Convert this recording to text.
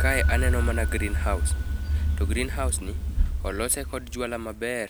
Kae aneno mana green house to green house ni olose kod jwala maber